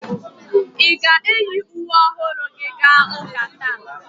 Ị ga-eyi uwe ọhụrụ gị gaa ụka taa?